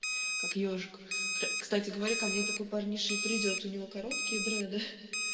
как ёжик кстати говоря ко мне такой парниша и придёт у него короткие дреды